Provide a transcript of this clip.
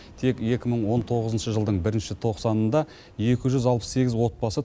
тек екі мың он тоғызыншы жылдың бірінші тоқсанында екі жүз алпыс сегіз отбасы